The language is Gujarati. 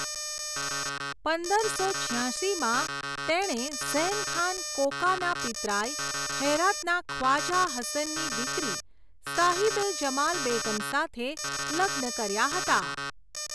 પંદરસો છ્યાશીમાં તેણે ઝૈન ખાન કોકાના પિતરાઈ, હેરાતના ખ્વાજા હસનની દીકરી સાહિબ એ જમાલ બેગમ સાથે લગ્ન કર્યા હતા.